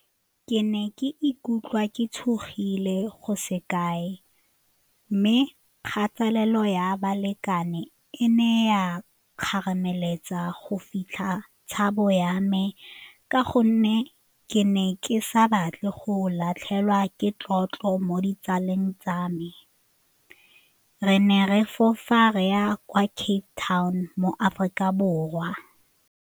Ke ne ke ikutlwa ke tshogile go se kae mme kgatelelo ya balekane e ne ya kgarameletsa go fitlha tshabo ya me ka gonne ke ne ke sa batle go latlhegelwa ke tlotlo mo ditsaleng tsa me. Re ne re fofa re ya kwa Cape Town mo Aforika Borwa.